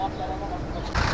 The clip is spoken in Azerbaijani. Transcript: Bax, mənə bax.